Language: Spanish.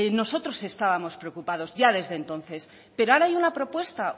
nosotros estábamos preocupados ya desde entonces pero ahora hay una propuesta